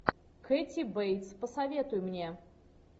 кэти бейтс посоветуй мне